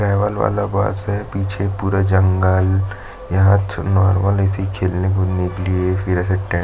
travel वाला bus है पीछे पूरा एक जंगल यहाँ नार्मल ऐसे खेलेने खुदने के लिए फिर ऐसे टे--